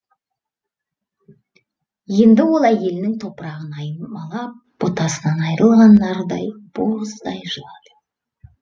енді ол әйелінің топырағын аймалап ботасынан айырылған нардай боздай жылады